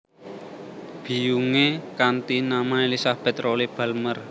Biyungé kanthi nama Elizabeth Rolle Balmer